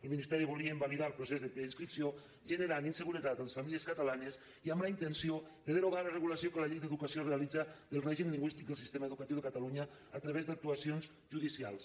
el ministeri volia invalidar el procés de preinscripció i generar inseguretat a les famílies catalanes amb la intenció de derogar la regulació que la llei d’educació realitza del règim lingüístic del sistema educatiu de catalunya a través d’actuacions judicials